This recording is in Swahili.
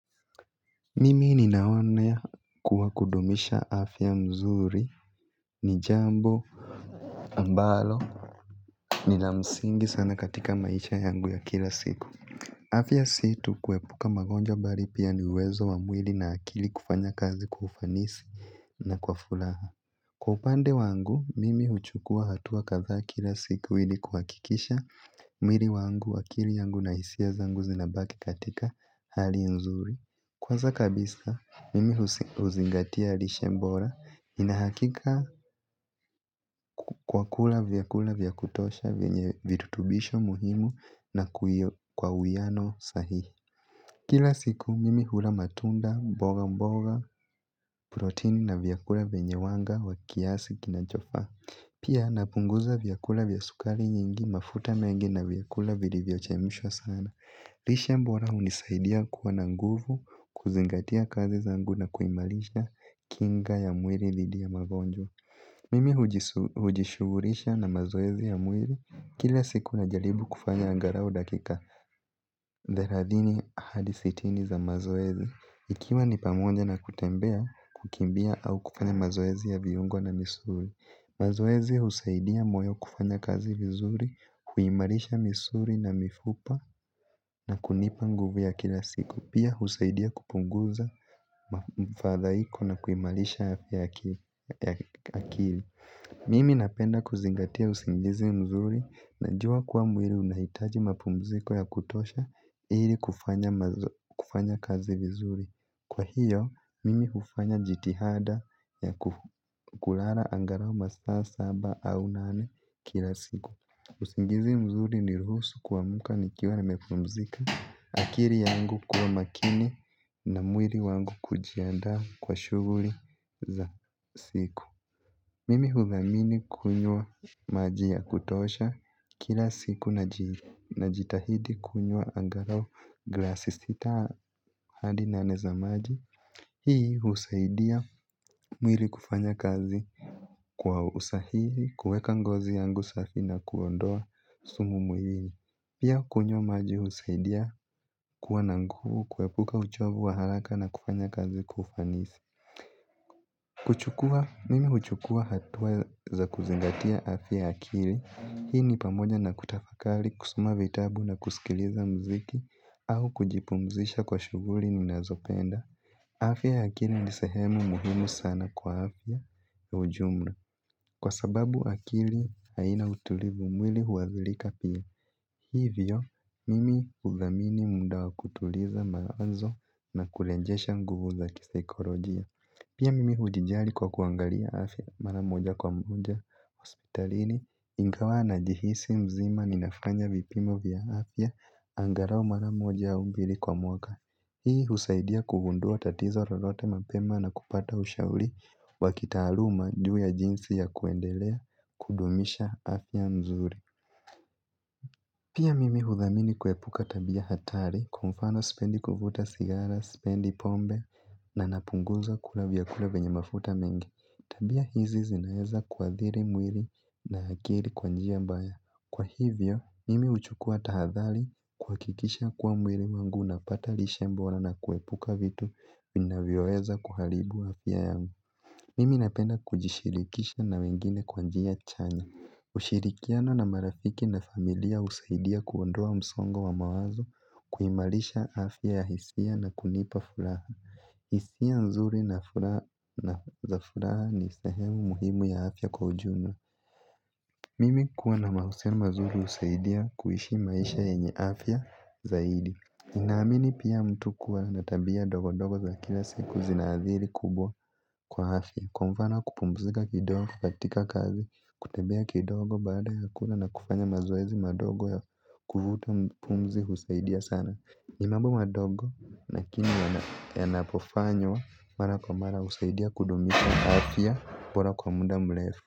Mimi ninaona kuwa kudumisha afya mzuri. Nijambo ambalo nila msingi sana katika maisha yangu ya kila siku. Afya situ kuepuka magonjwa bari pia niuwezo wa mwili na akili kufanya kazi kwa ufanisi na kwa furaha. Kwa upande wangu mimi huchukua hatua kadhaa kila siku ili kuhakikisha mwili wangu akili yangu na hisia zangu zinabaki katika hali nzuri. Kwanza kabisa, mimi huzingatia lishe bora inahakika kwa kula vyakula vyakutosha venye virutubisho muhimu na kwa uwiano sahihi. Kila siku, mimi hula matunda mboga mboga protein na vyakula venye wanga wa kiasi kinachofa. Pia napunguza vyakula vyasukari nyingi mafuta mengi na vyakula vili vyochemishwa sana. Lishe bora hunisaidia kuwa na nguvu kuzingatia kazi zangu na kuimalisha kinga ya mwili dhidi ya magonjwa. Mimi hujishughulisha na mazoezi ya mwili kila siku na jaribu kufanya angarau dakika thelathini hadi sitini za mazoezi. Ikiwa ni pamoja na kutembea kukimbia au kufanya mazoezi ya viungo na misuli mazoezi husaidia moyo kufanya kazi vizuri, huimarisha na mifupa na kunipa nguvu ya kila siku. Pia husaidia kupunguza mfadhaiko na kuimarisha fya ya akili. Mimi napenda kuzingatia usingizi mzuri na jua kuwa mwili unahitaji mapumziko ya kutosha ili kufanya kazi vizuri. Kwa hiyo, mimi hufanya jitihada ya kulala angarau masaa saba au nane kila siku. Usingizi mzuri ni ruhusu kuamka ni kiwa na mepumzika. Akili yangu kuwa makini na mwili wangu kujiandaa kwa shughuli za siku. Mimi hudhamini kunywa maji ya kutosha kila siku na jitahidi kunywa angalau glasi sita hadi nane za maji. Hii husaidia mwili kufanya kazi kwa usahihi kuweka ngozi yangu safi na kuondoa sumu mwilini. Pia kunywa maji husaidia kuwa na nguvu kuepuka uchovu wa haraka na kufanya kazi kwa ufanisi. Kuchukua, mimi huchukua hatua za kuzingatia afya ya akili. Hii ni pamoja na kutafakali kusoma vitabu na kusikiliza mziki au kujipumzisha kwa shughuri ni nazopenda. Afya ya akili ni sehemu muhimu sana kwa afya ya ujumla. Kwa sababu akili haina utulivu mwili huwazilika pia. Hivyo, mimi udhamini muda wa kutuliza mawazo na kurejesha nguvu za kisikolojia. Pia mimi ujijali kwa kuangalia afya maramoja kwa moja hospitalini. Ingawa na jihisi mzima ninafanya vipimo vya afya, angarau maramoja au mbili kwa mwaka. Hii husaidia kugundua tatizo lolote mapema na kupata ushauri wakitaluma juu ya jinsi ya kuendelea kudumisha afya nzuri. Pia mimi hudhamini kuepuka tabia hatari kwamfano sipendi kuvuta sigara, sipendi pombe na napunguza kula vya kula vyenye mafuta mengi. Tabia hizi zinaweza kuathiri mwili na akiri kwanjia mbaya. Kwa hivyo, mimi uchukua tahadhali kuha kikisha kuwa mwili wangu na pata lishe bora na na kuepuka vitu vinavyoweza kuharibu afya yangu. Mimi napenda kujishirikisha na wengine kwanjia chanya. Ushirikiano na marafiki na familia usaidia kuondoa msongo wa mawazo kuimarisha afya ya hisia na kunipa furaha. Hisia nzuri na za furaha ni sahemu muhimu ya afya kwa ujumla. Mimi kuwa na mahusiano mazuri usaidia kuishi maisha yenye afya zaidi ninamini pia mtu kuwa natabia ndogo ndogo za kila siku zinathiri kubwa kwa afya. Kwamfano kupumzika kidogo, katika kazi, kutembea kidogo baada ya kula na kufanya mazoezi madogo ya kuvuta pumzi usaidia sana ni mambo madogo lakini yanapofanywa mara kwa mara usaidia kudumisha afya bora kwa muda mrefu.